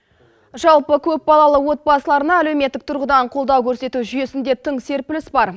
жалпы көп балалы отбасыларына әлеуметтік тұрғыдан қолдау көрсету жүйесінде тың серпіліс бар